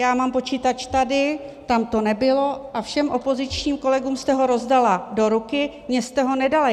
Já mám počítač tady, tam to nebylo, a všem opozičním kolegům jste ho rozdala do ruky, mně jste ho nedala.